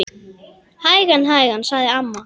Hægan, hægan sagði amma.